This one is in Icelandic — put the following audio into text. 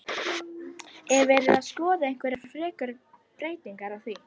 Er verið að skoða einhverjar frekari breytingar á því?